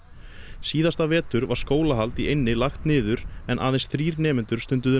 síðasta vetur var skólahald í eynni lagt niður en aðeins þrír nemendur stunduðu